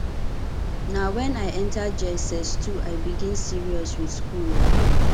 na wen i enta jss2 i begin serious with school o